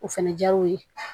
O fɛnɛ diyar'o ye